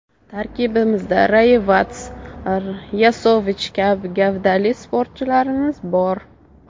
Tarkibimizda Rayevats, Yosovich kabi gavdali futbolchilarimiz bor.